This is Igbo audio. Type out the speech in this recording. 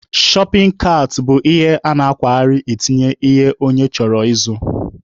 Shọpin kaat bụ ihe a na-akwagharị etinye ihe onye chọrọ ịzụ.